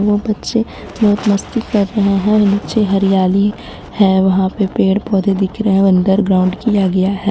वह बच्चे बहुत मस्ती कर रहे हैं नीचे हरियाली है वहां पे पेड़ पौधे दिख रहे हैं अंडरग्राउंड किया गया है.